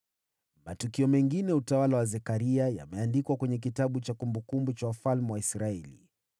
Matukio mengine ya utawala wa Zekaria yameandikwa kwenye kitabu cha kumbukumbu za wafalme wa Israeli.